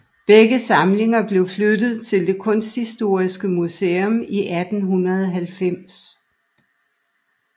Begge samlinger blev flyttet til det kunsthistoriske museum i 1890